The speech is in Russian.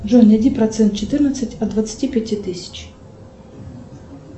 джой найди процент четырнадцать от двадцати пяти тысяч